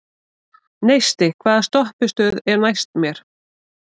Neisti, hvaða stoppistöð er næst mér?